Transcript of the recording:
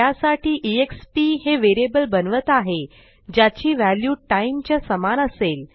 त्यासाठी एक्स्प हे व्हेरिएबल बनवत आहे ज्याची व्हॅल्यू टाइम च्या समान असेल